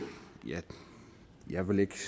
jeg vil ikke